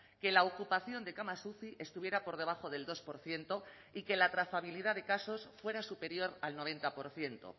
que la ocupación de camas uci estuviera por debajo del dos por ciento y que la trazabilidad de casos fuera superior al noventa por ciento